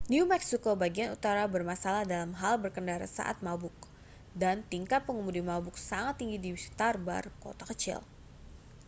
new meksiko bagian utara bermasalah dalam hal berkendara saat mabuk dan tingkat pengemudi mabuk sangat tinggi di sekitar bar kota kecil